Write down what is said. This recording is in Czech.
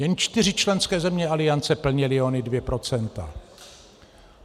Jen čtyři členské země aliance plnily ona dvě procenta.